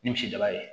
Ni misi daba ye